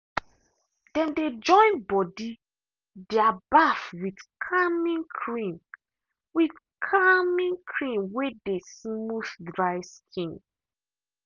them dey join body their baff with calming cream with calming cream way dey smooth dry skin.